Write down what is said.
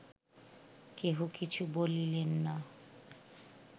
কেহ কিছু বলিলেন না